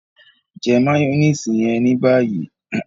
jẹ mayonnaise yẹn ní báyìí!